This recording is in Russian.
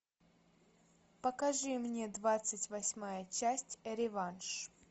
покажи мне двадцать восьмая часть реванш